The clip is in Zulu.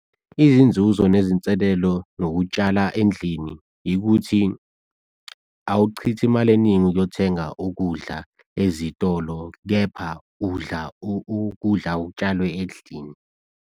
Izinzuzo nezinselelo nokutshala endlini yikuthi, awuchithe imali eningi ukuyothenga ukudla ezitolo, kepha udla ukudla ok'tshalwe endlini.